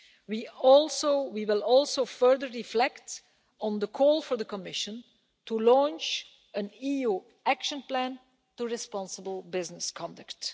We will also further reflect on the call for the Commission to launch an EU action plan on responsible business conduct.